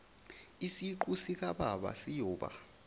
isiqu sikababa siyoba